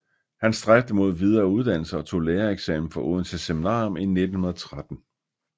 Han stræbte mod videre uddannelse og tog lærereksamen fra Odense Seminarium 1913